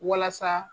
Walasa